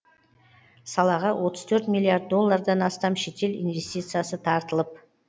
салаға отыз төрт миллиард доллардан астам шетел инвестициясы тартылып